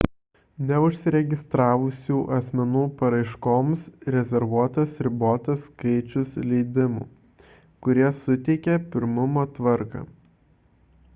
neužsiregistravusių asmenų paraiškoms rezervuotas ribotas skaičius leidimų kurie suteikiami pirmumo tvarka